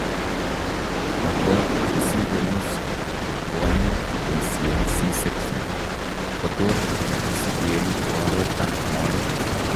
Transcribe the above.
Ako chesire nusu eng' kwonyik cheboisien c section kotot kosikeen oreet ab mooet